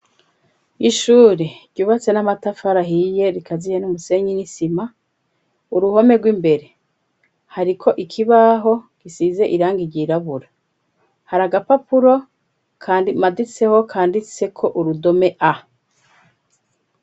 Ishuri ryubatse n'amatafarahiye rikaziye n'umusenyi n'isima uruhome rw'imbere hariko ikibaho gisize iranga iryirabura hari aga papuro, kandi maditseho, kandi tseko urudome a.